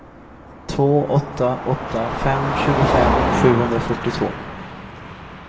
två åtta åtta fem tjugofem sjuhundrafyrtiotvå